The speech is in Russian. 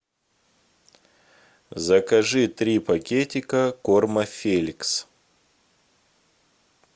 закажи три пакетика корма феликс